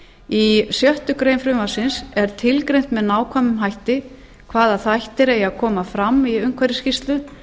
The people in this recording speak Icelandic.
í sjöttu greinar frumvarpsins er tilgreint með nákvæmum hætti hvaða þættir eigi að koma fram í umhverfisskýrslu